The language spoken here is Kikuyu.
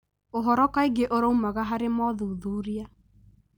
ũhoro kaingĩ ũraumaga harĩ mothuthuria.